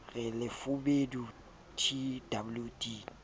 le lefubedu t w d